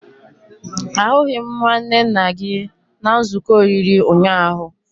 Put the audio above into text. Ahụghị m nwanne nna gị na nzuko oriri ụnyaahụ